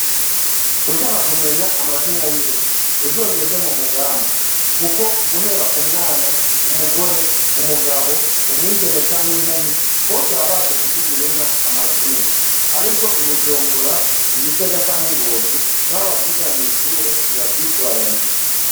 Ushaka kumenya amazina y'inka, uzogende mu Mugamba kuko guhera ku mwana, umugore, umugabo, umwigeme canke inkumi, bose baba bazi kuvugira inka amazina. Ariko i Bujumbura, i Gitega canke i Ngozi, naho bavyiga mw'ishure, ntibavyitwararika.